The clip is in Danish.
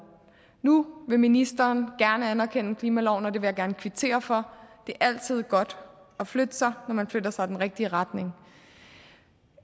nu vil ministeren gerne anerkende klimaloven og det vil jeg gerne kvittere for det er altid godt at flytte sig når man flytter sig i den rigtige retning